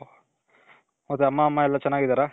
ಮತ್ತೆ ಅಮ್ಮ ಎಲ್ಲಾ ಚೆನಾಗಿದಾರ .